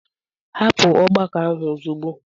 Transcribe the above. Hapụ ọgbakọ ahụ ozugbo.